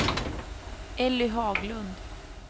Elly Haglund